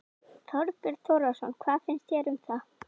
Þorbjörn Þórðarson: Hvað finnst þér um það?